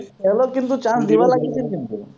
ছেহেলক কিন্তু chance দিব লাগিছিল কিন্তু